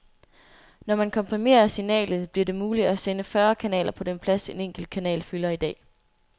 Når man komprimerer signalet, bliver det muligt at sende fyrre kanaler på den plads, en enkelt kanal fylder i dag.